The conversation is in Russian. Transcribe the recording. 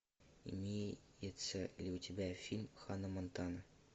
имеется ли у тебя фильм ханна монтана